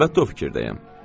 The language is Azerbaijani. Əlbəttə o fikirdəyəm.